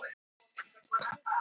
Debora, slökktu á niðurteljaranum.